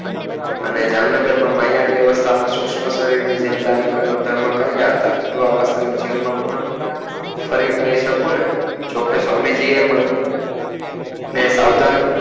અનેજામનગર માં માયા અવરથા માં જ સુક્ષમ ડેન ધર્મ કારિયા હતા એવા વાસ્તવિક જીવન માં પણ ફરી કરી શકું ને જો કે સ્વામી જોયે મને સાવધાન